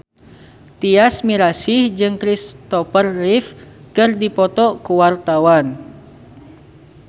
Tyas Mirasih jeung Christopher Reeve keur dipoto ku wartawan